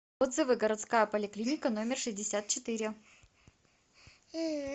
отзывы городская поликлиника номер шестьдесят четыре